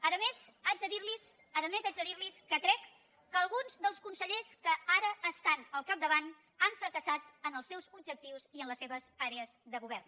a més haig de dir li que crec que alguns dels consellers que ara estan al capdavant han fracassat en els seus objectius i en les seves àrees de govern